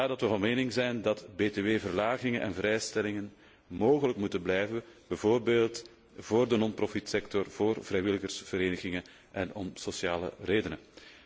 Vandaar zijn wij van mening dat btw verlagingen en vrijstellingen mogelijk moeten blijven, bijvoorbeeld voor de non profitsector, voor vrijwilligersverenigingen en om sociale redenen.